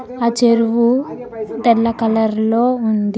ఆ చెరువు తెల్ల కలర్ లో ఉంది.